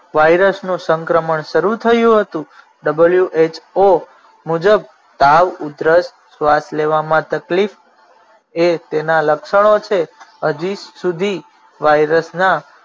વાયરસનો સંક્રમણ શરૂ થયું હતું. who મુજબ તાવ ઉધરસ શ્વાસ લેવામાં તકલીફ એ તેના લક્ષણો છે હજી સુધી વાઇરસના